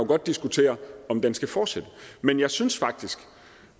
godt diskutere om den skal fortsætte men jeg synes faktisk